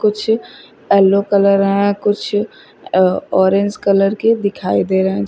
कुछ yellow colour है कुछ ऑरेंज कलर के दिखाई दे रहे हैं।